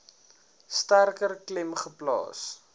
sterker klem geplaas